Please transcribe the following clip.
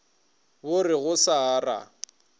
bo re go sa ra